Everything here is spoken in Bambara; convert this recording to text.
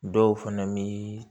Dɔw fɛnɛ bii